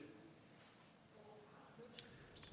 når